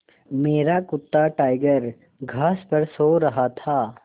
मेरा कुत्ता टाइगर घास पर सो रहा था